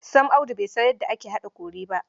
Sam Audu bai san yadda ake haɗa kori ba!